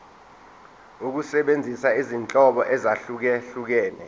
ukusebenzisa izinhlobo ezahlukehlukene